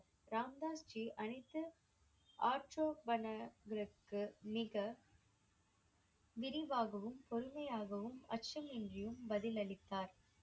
ராம் தாஸ் ஜி அனைத்து மிக விரிவாகவும் பொறுமையாகவும் அச்சமின்றியும் பதிலளித்தார்.